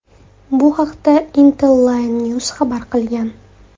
Bu haqda Intellinews xabar qilgan .